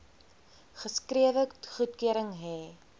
geskrewe goedkeuring hê